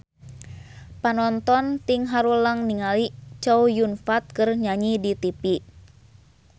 Panonton ting haruleng ningali Chow Yun Fat keur nyanyi di tipi